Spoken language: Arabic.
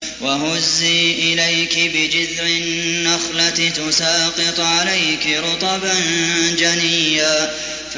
وَهُزِّي إِلَيْكِ بِجِذْعِ النَّخْلَةِ تُسَاقِطْ عَلَيْكِ رُطَبًا جَنِيًّا